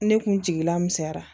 Ne kun jigila misɛnyara